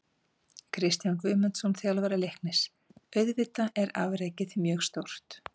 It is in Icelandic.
Kristján Guðmundsson, þjálfari Leiknis: Auðvitað er afrekið mjög stórt.